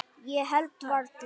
Ég held varla.